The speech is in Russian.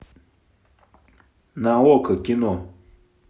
на окко кино